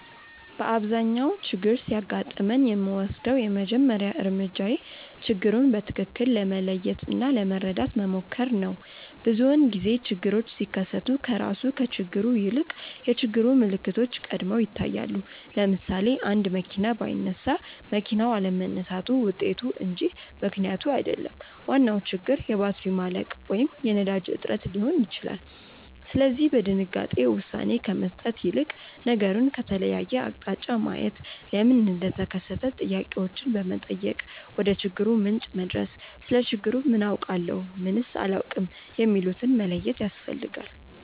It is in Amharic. በአብዛኛው ችግር ሲያጋጥመኝ የምወስደው የመጀመሪያው እርምጃዬ ችግሩን በትክክል ለመለየት እና ለመረዳት መሞከር ነው። ብዙውን ጊዜ ችግሮች ሲከሰቱ ከራሱ ከችግሩ ይልቅ የችግሩ ምልክቶች ቀድመው ይታያሉ። ለምሳሌ፣ አንድ መኪና ባይነሳ መኪናው አለመነሳቱ ውጤቱ እንጂ ምክንያቱ አይደለም፤ ዋናው ችግር የባትሪ ማለቅ ወይም የነዳጅ እጥረት ሊሆን ይችላል። ስለዚህ በድንጋጤ ውሳኔ ከመስጠት ይልቅ ነገሩን ከተለያየ አቅጣጫ ማየት፣ ለምን እንደተከሰተ ጥያቄዎችን በመጠየቅ ወደችግሩ ምንጭ መድረስ፣ ስለ ችግሩ ምን አውቃለሁ? ምንስ አላውቅም? የሚሉትን መለየት ያስፈልጋል።